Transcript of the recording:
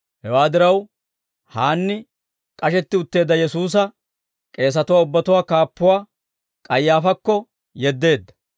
Hewaa diraw, Haanni, k'ashetti utteedda Yesuusa, k'eesatuwaa ubbatuwaa kaappuwaa, K'ayaafaakko yeddeedda.